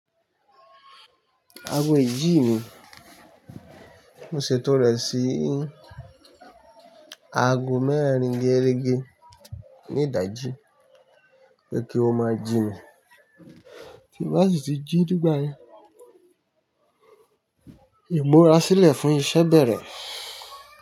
Aago ìjì mi, mo ṣètò rẹ̀ sí aago mẹ́rin gérégé ní ìdájí pé kí ó máa jí mi. Bí bá sì ti jí nígbà yẹn, ìmúra sílẹ̀ fún iṣẹ́ bẹ̀rẹ̀